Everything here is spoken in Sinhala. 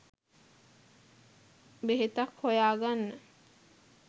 බෙහෙතක් හොයාගන්න